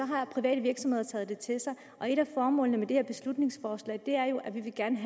har private virksomheder taget det til sig og et af formålene med det her beslutningsforslag er jo at vi gerne